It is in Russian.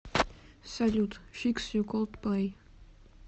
салют фикс ю колдплэй